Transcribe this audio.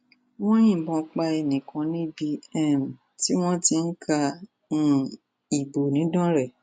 wọn yìnbọn pa ẹnì kan níbi um tí wọn ti ń ka um ìbò nìdánrẹ